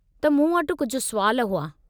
त मूं वटि कुझु सुवाल हुआ।